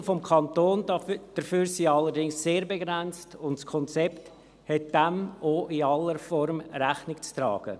Die Mittel des Kantons dafür sind allerdings sehr begrenzt, und das Konzept hat dem auch in aller Form Rechnung zu tragen.